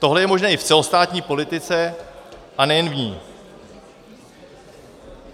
Tohle je možné i v celostátní politice - a nejen v ní.